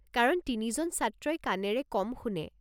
কাৰণ তিনিজন ছাত্ৰই কাণেৰে কম শুনে।